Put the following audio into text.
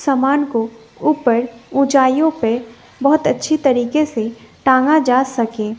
सामान को ऊपर ऊंचाइयों पे बहोत अच्छी तरीके से टांगा जा सके--